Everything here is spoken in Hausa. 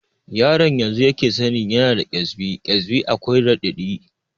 Yaron yanzu yake sani yana da ƙesbi, ƙesbi akwai raɗaɗi